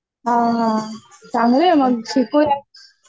हां हां चांगलं आहे मग शिकुयात